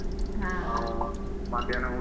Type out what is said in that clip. ಹ ಹ.